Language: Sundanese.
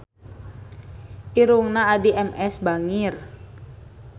Irungna Addie MS bangir